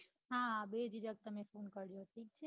હા બેજીજક તમે phone કરજો